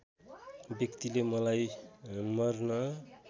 व्यक्तिले मलाई मर्न